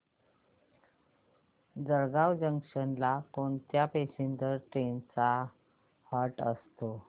Jalgaon junction ला कोणत्या passenger trains चा हॉल्ट असतो